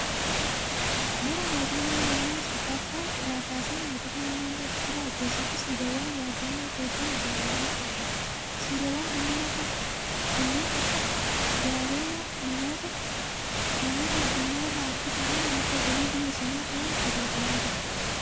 Bara mootummaa Yohaannis arfaffaa irraa kaasee mootummaa naannoo Tigiraayi keessatti siidaawwan yaadannoon hedduun ijaaramanii argamu, Siidaawwan kunneen akka daawwannaatt namoota addunyaa irraa harkisuudhaan madda galii biyya sanaa ta'uun tajaajilaa jira.